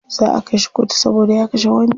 Za'a kai shi kotu saboda ya kashe wani.